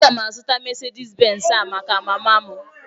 Aga m azụtara Mesedis Benz a maka mama m